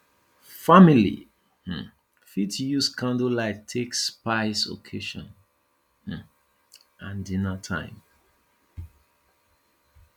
family um fit use candle light take spice occassion um and dinner time